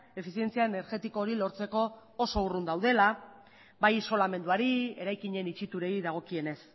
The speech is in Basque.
efizientzia energetiko hori lortzeko oso urrun daudela bai isolamenduari eraikinen itxiturei dagokienez